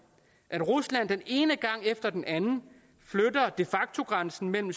at rusland den ene gang efter den anden flytter de facto grænsen mellem